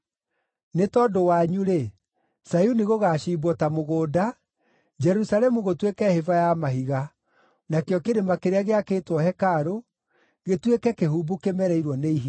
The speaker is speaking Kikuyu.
Nĩ tondũ wanyu-rĩ, Zayuni gũgaaciimbwo ta mũgũnda, Jerusalemu gũtuĩke hĩba ya mahiga, nakĩo kĩrĩma kĩrĩa gĩakĩtwo hekarũ gĩtuĩke kĩhumbu kĩmereirwo nĩ ihinga.